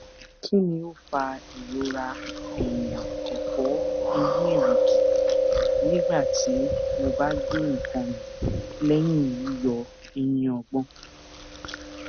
kini o fa irora ẹyinẹfọeyinẹrigi nigbati mo ba gbe nkan mi lẹyin yiyọ eyin ogbon